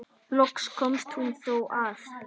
Loks komst hún þó að.